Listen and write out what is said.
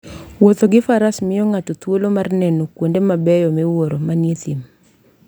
Wuotho gi Faras miyo ng'ato thuolo mar neno kuonde mabeyo miwuoro manie thim.